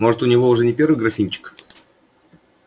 может у него уже не первый графинчик